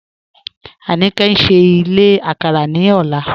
Anike n ṣìí ìlẹ̀ àkàrà ní ọ̀lá